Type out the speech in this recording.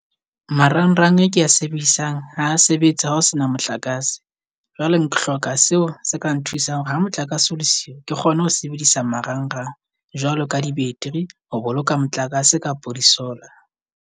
Marangrang e ke a sebedisang ha sebetse ha ho sena motlakase. Jwale ke hloka seo se ka nthusang hore ha motlakase o le siyo, ke kgone ho sebedisa marangrang. Jwalo ka di-battery, ho boloka motlakase kapo di-solar.